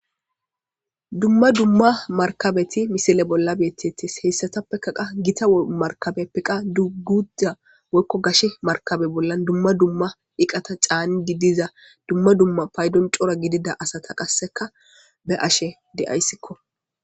Duma duma markabeti missile bola betetes heysatapeka qa gita markabepe qa guta woyko gashe markabe bolan duma duma iqata c'anidi diza duma duma paydon c'ora gidida asata qaseka be'ashe de'aysko.